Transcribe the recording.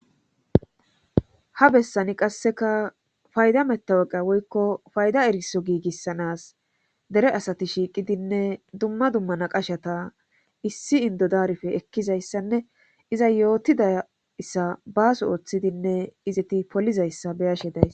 ha bessani qasseka fayda metaweqa woykko fayda eriso giigissanas dere asati shiiqidinne dumma dumma naqashata issi indodarfe ekkizayssanne iza yootidayssa baaso ooththidinne izeti polizayssa beyashe days